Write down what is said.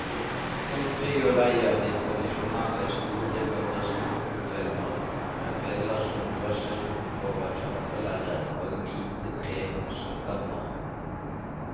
Folk blir jo lei av de tradisjonelle store katastrofefilmer med biller som blåses opp over kjempelerret og hvite trehus som brenner.